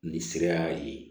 Nin sira ye